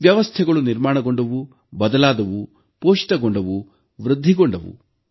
ವ್ಯವಸ್ಥೆಗಳು ನಿರ್ಮಾಣಗೊಂಡವು ಬದಲಾದವು ಪೋಷಿತಗೊಂಡವು ವೃದ್ಧಿಗೊಂಡವು